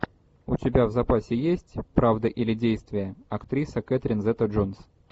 у тебя в запасе есть правда или действие актриса кэтрин зета джонс